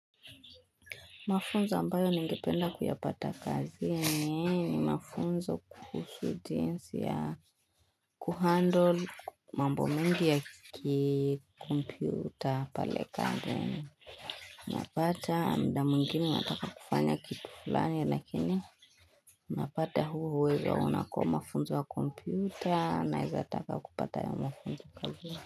Mafunzo ambayo ningependa kuyapata kazini ni mafunzo kuhusu jinsi ya kuhandle mambo mingi ya kikompyuta pale kandeni. Napata mda mwingine nataka kufanya kitu fulani lakini napata huo uwezo unako mafunzo ya kompyuta naezataka kupata ya mafunzo kazini.